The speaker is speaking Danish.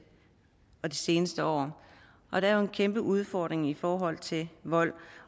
seneste år og der er jo en kæmpe udfordring i forhold til vold